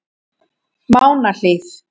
Mánahlíð